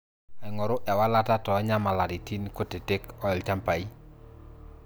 aingoru ewalata too nyamalitin kutitik oolchampai